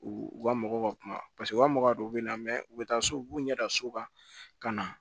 U u ka mɔgɔw ka kuma paseke u ka mɔgɔ dɔw bɛ na mɛ u bɛ taa so u b'u ɲɛ da so kan na